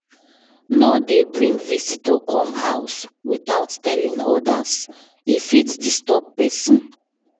No dey bring visitor come house without telling others, e fit disturb pesin.